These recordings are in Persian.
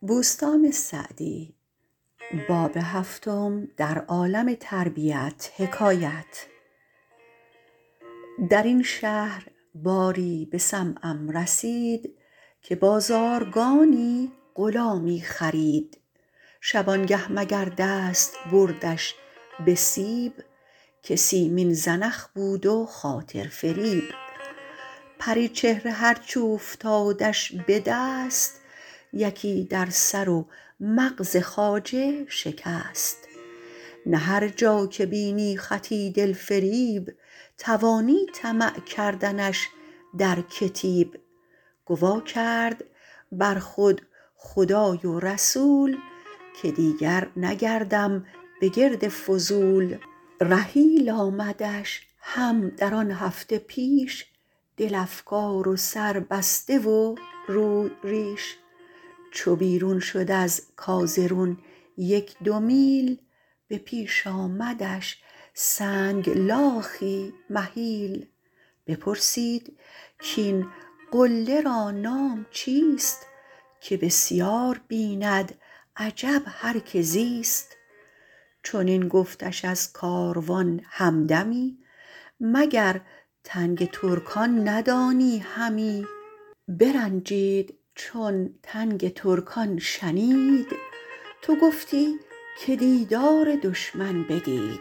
در این شهر باری به سمعم رسید که بازارگانی غلامی خرید شبانگه مگر دست بردش به سیب که سیمین زنخ بود و خاطر فریب پریچهره هرچ اوفتادش به دست یکی در سر و مغز خواجه شکست نه هر جا که بینی خطی دل فریب توانی طمع کردنش در کتیب گوا کرد بر خود خدای و رسول که دیگر نگردم به گرد فضول رحیل آمدش هم در آن هفته پیش دل افگار و سر بسته و روی ریش چو بیرون شد از کازرون یک دو میل به پیش آمدش سنگلاخی مهیل بپرسید کاین قله را نام چیست که بسیار بیند عجب هر که زیست چنین گفتش از کاروان همدمی مگر تنگ ترکان ندانی همی برنجید چون تنگ ترکان شنید تو گفتی که دیدار دشمن بدید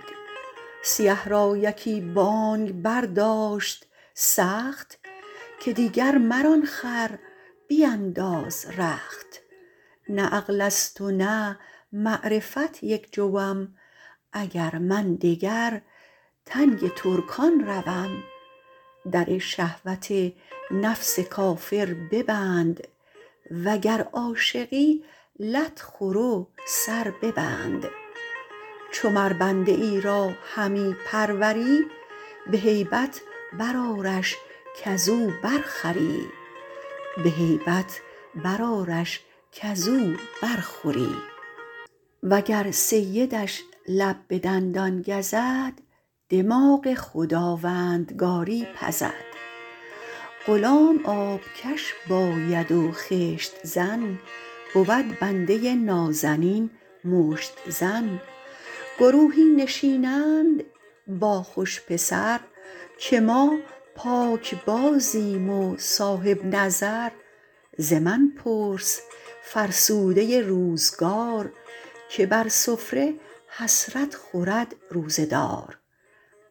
سیه را یکی بانگ برداشت سخت که دیگر مران خر بینداز رخت نه عقل است و نه معرفت یک جوم اگر من دگر تنگ ترکان روم در شهوت نفس کافر ببند وگر عاشقی لت خور و سر ببند چو مر بنده ای را همی پروری به هیبت بر آرش کز او برخوری وگر سیدش لب به دندان گزد دماغ خداوندگاری پزد غلام آبکش باید و خشت زن بود بنده نازنین مشت زن گروهی نشینند با خوش پسر که ما پاکبازیم و صاحب نظر ز من پرس فرسوده روزگار که بر سفره حسرت خورد روزه دار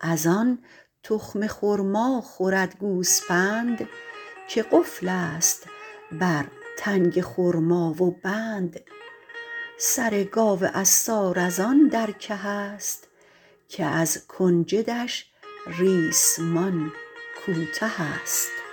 از آن تخم خرما خورد گوسپند که قفل است بر تنگ خرما و بند سر گاو عصار از آن در که است که از کنجدش ریسمان کوته است